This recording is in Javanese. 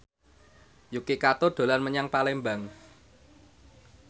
Yuki Kato dolan menyang Palembang